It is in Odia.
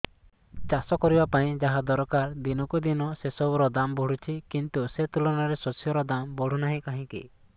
ଚାଷ କରିବା ପାଇଁ ଯାହା ଦରକାର ଦିନକୁ ଦିନ ସେସବୁ ର ଦାମ୍ ବଢୁଛି କିନ୍ତୁ ସେ ତୁଳନାରେ ଶସ୍ୟର ଦାମ୍ ବଢୁନାହିଁ କାହିଁକି